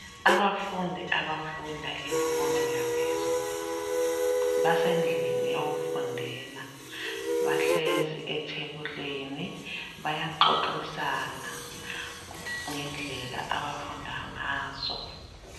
Abafundi abafunda imfundo yaphezulu basendlini yokufundela bahlezi ethebulini bayaxoxisa ngendlela abafunda ngazo.